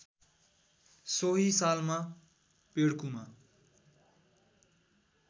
सोही सालमा पेड्कुमा